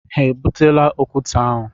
Ha e butela okwute ahụ?